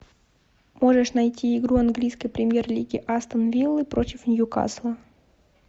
можешь найти игру английской премьер лиги астон виллы против ньюкасла